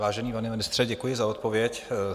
Vážený pane ministře, děkuji za odpověď.